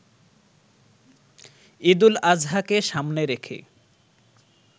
ঈদুল আজহাকে সামনে রেখে